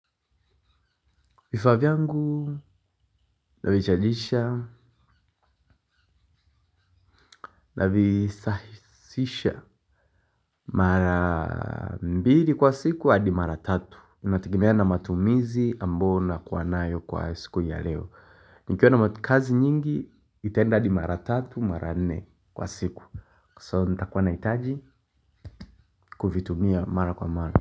Vifaa vyangu, navichajisha, navisahisisha. Mara mbili kwa siku, hadi mara tatu inategemea na matumizi ambao nakuwa nayo kwa siku ya leo. Nikiona kazi nyingi, itaenda hadi mara tatu, mara nne kwa siku. Kwa siku, so nitakuwa nahitaji kuvitumia mara kwa mara.